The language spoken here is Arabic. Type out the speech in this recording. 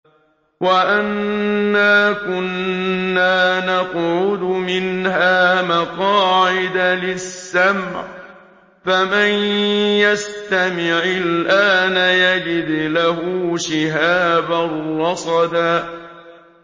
وَأَنَّا كُنَّا نَقْعُدُ مِنْهَا مَقَاعِدَ لِلسَّمْعِ ۖ فَمَن يَسْتَمِعِ الْآنَ يَجِدْ لَهُ شِهَابًا رَّصَدًا